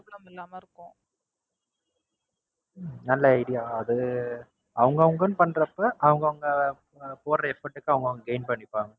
உம் நல்ல Idea அது அவங்க அவங்கன்னு பன்றப்ப அவங்க அவங்க போடுற Effort க்கு அவங்க அவங்க Gain பண்ணிப்பாங்க.